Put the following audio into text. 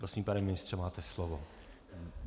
Prosím, pane ministře, máte slovo.